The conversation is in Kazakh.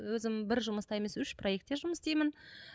өзім бір жұмыста емес үш проектте жұмыс істеймін